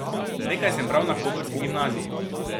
Nekaj sem bral na koprski gimnaziji.